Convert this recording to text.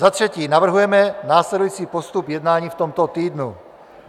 Za třetí navrhujeme následující postup jednání v tomto týdnu: